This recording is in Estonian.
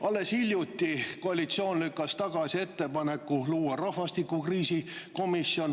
Alles hiljuti lükkas koalitsioon tagasi ettepaneku luua rahvastikukriisi komisjon.